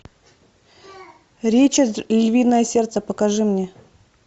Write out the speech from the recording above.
ричард львиное сердце покажи мне